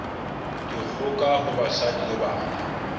dikgoka ho basadi le bana